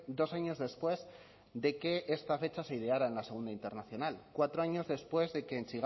dos años después de que esta fecha se ideara en la segunda internacional cuatro años después de que en